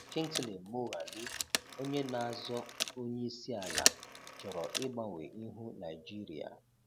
Kingsley Moghalu onye na-azọ onyeisiala chọrọ ịgbanwe ihu Naịjirịa